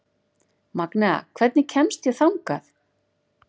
Magnea, hvernig kemst ég þangað?